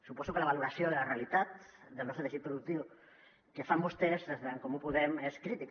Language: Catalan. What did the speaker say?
suposo que la valoració de la realitat del nostre teixit productiu que fan vostès des d’en comú podem és crítica